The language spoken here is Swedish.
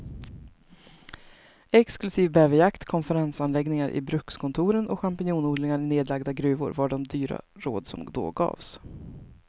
Exklusiv bäverjakt, konferensanläggningar i brukskontoren och champinjonodlingar i nedlagda gruvor var de dyra råd som då gavs.